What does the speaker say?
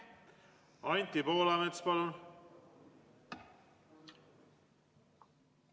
Anti Poolamets, palun!